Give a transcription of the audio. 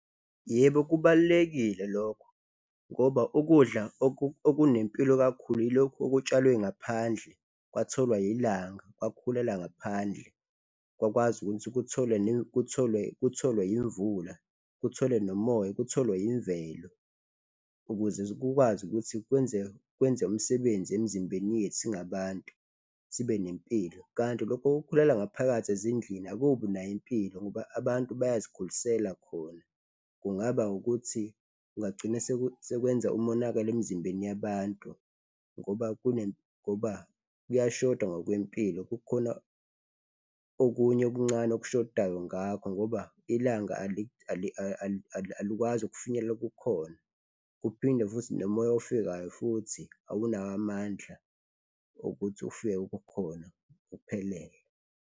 Yebo, kubalulekile lokho ngoba ukudla okunempilo kakhulu ilokhu okutshalwe ngaphandle kwatholwa ilanga kwakhulela ngaphandle kwakwazi ukuthi kutholwe kutholwe, kutholwe imvula kuthole nomoya kutholwe imvelo ukuze kukwazi ukuthi kwenze, kwenze umsebenzi emizimbeni yethu singabantu sibe nempilo. Kanti lokho okukhulela ngaphakathi ezindlini akubi nayo impilo ngoba abantu bayazikhulisela khona, kungaba ukuthi kungagcine sekwenza umonakalo emizimbeni yabantu ngoba ngoba kuyashoda ngokwempilo, kukhona okunye okuncane okushodayo ngakho ngoba ilanga alikwazi ukufinyelela kukhona kuphinde futhi nomoya ofikayo futhi awunawo amandla okuthi ufike khona uphelele.